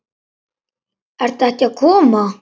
Ert ekki að koma?